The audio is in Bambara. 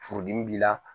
Furudimi b'i la